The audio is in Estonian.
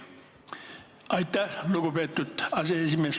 Aitäh, lugupeetud aseesimees!